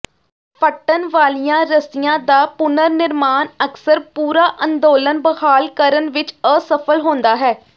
ਫੱਟਣ ਵਾਲੀਆਂ ਰੱਸੀਆਂ ਦਾ ਪੁਨਰ ਨਿਰਮਾਣ ਅਕਸਰ ਪੂਰਾ ਅੰਦੋਲਨ ਬਹਾਲ ਕਰਨ ਵਿੱਚ ਅਸਫਲ ਹੁੰਦਾ ਹੈ